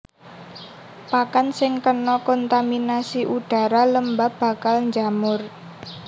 Pakan sing kena kontaminasi udhara lembab bakal njamur